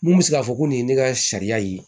Mun bɛ se k'a fɔ ko nin ye ne ka sariya ye